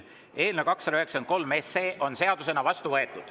Eelnõu 293 on seadusena vastu võetud.